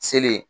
Seli ye